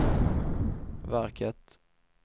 verket